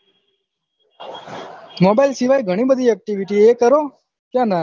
mobile સિવાય'ઘણી બધી activity છે એ કરો કયો ના હે